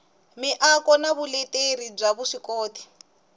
miako na vuleteri bya vuswikoti